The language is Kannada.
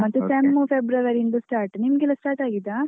ಮತ್ತೆ sem February ಇಂದ start , ಮತ್ತೆ ನಿಮ್ಗೆಲ್ಲ start ಆಗಿದಾ?